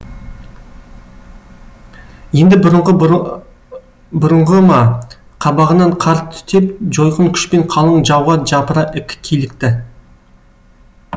енді бұрынғы бүрынғы ма қабағынан қар түтеп жойқын күшпен қалың жауға жапыра килікті